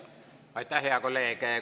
Aitäh, hea kolleeg!